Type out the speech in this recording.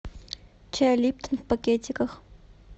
чай липтон в пакетиках